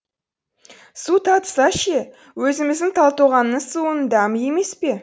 су татыса ше өзіміздің талтоғанның суының дәмі емес пе